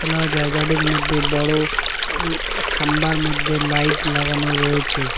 খোলা জায়গাটির মধ্যে বড় আ খাম্বার মধ্যে লাইট লাগানো রয়েছে।